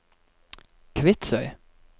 Kvitsøy